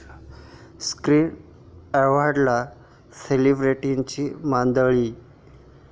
screen ऍवॉर्ड'ला सेलिब्रिटींची मांदियाळी